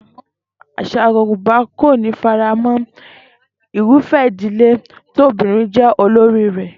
Às̩à Yorùbá kò ní faramó̩ irúfé̩ ìdílé tí obìnrin jé̩ olórí rè̩